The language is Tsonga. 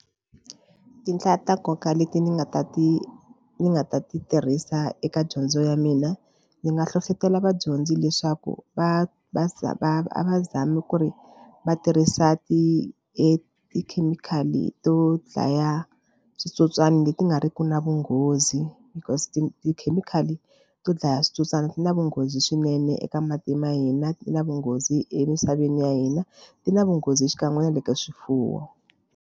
Tinhla ta nkoka leti ndzi nga ta ti ni nga ta ti tirhisa eka dyondzo ya mina ndzi nga hlohlotelo vadyondzi leswaku va va za va va zami ku ri va tirhisa ti etikhemikhali to dlaya switsotswana leti nga riki na vunghozi because ti tikhemikhali to dlaya switsotswana ti na vunghozi swinene eka mati ma hina ti na vunghozi emisaveni ya hina ti na vunghozi xikan'we na le ka swifuwo.